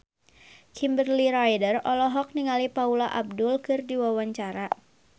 Kimberly Ryder olohok ningali Paula Abdul keur diwawancara